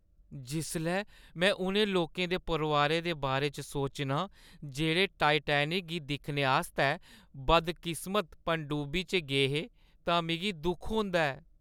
जिसलै में उ'नें लोकें दे परोआरें दे बारे च सोचनां जेह्ड़े टाइटैनिक गी दिक्खने आस्तै बदकिस्मत पनडुब्बी च गे हे तां मिगी दुख होंदा ऐ।